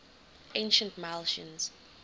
ancient milesians